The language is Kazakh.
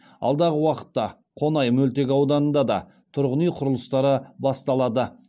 алдағы уақытта қонай мөлтек ауданында да тұрғын үй құрылыстары басталады